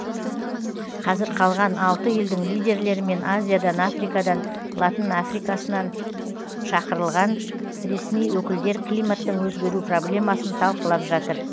қазір қалған алты елдің лидерлері мен азиядан африкадан латын африкасынан шақырылған ресми өкілдер климаттың өзгеру проблемасын талқылап жатыр